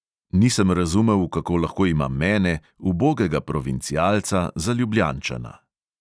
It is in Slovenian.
Nisem razumel, kako lahko ima mene, ubogega provincialca, za ljubljančana.